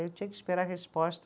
Eu tinha que esperar a resposta